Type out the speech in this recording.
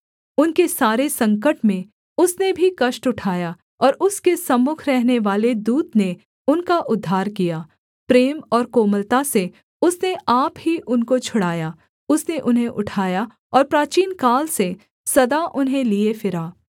उनके सारे संकट में उसने भी कष्ट उठाया और उसके सम्मुख रहनेवाले दूत ने उनका उद्धार किया प्रेम और कोमलता से उसने आप ही उनको छुड़ाया उसने उन्हें उठाया और प्राचीनकाल से सदा उन्हें लिए फिरा